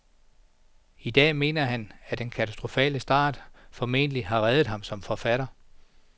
I dag mener han, at den katastrofale start formentlig har reddet ham som forfatter.